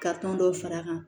Ka tɔn dɔ far'a kan